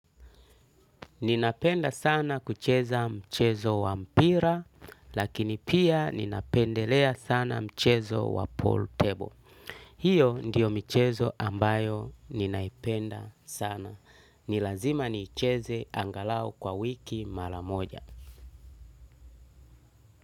Ninapenda sana kucheza mchezo wa mpira, lakini pia ninapendelea sana mchezo wa pool table. Hiyo ndiyo michezo ambayo ninaipenda sana. Ni lazima niicheze angalau kwa wiki mara moja.